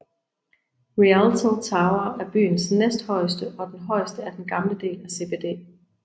Rialto tower er byens næsthøjeste og den højeste i den gamle del af CBD